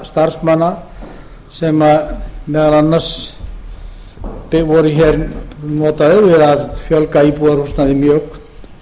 starfsmanna sem meðal annars voru hér notaðir við að fjölga íbúðarhúsnæði mjög